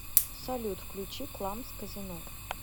салют включи кламс казино